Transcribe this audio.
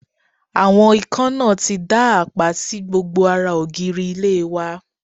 Àwọn ikán náà ti dá àpá sí gbogbo ara ògiri ilé wa